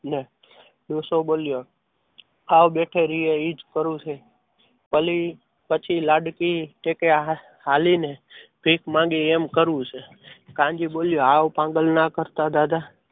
ને ડોસો બોલ્યો સાવ બેઠો રહે એ જ ખરું છે પલવી પછી લાડકી કે કે હાલીને પેટ માંગે એમ કરવું છે. કાનજી બોલ્યો સાવ પાગલ ના કરતા દાદા